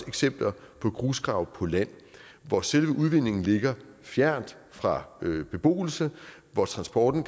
eksempler på grusgrave på land hvor selve udvindingen ligger fjernt fra beboelse hvor transporten